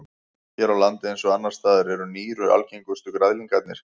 Hér á landi eins og annars staðar eru nýru algengustu græðlingarnir.